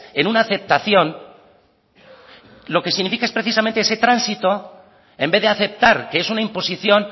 en una aceptación lo que significa es precisamente ese tránsito en vez de aceptar que es una imposición